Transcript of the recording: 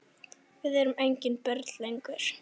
Við erum engin börn lengur.